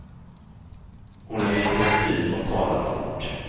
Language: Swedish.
Hon är intensiv och talar fort.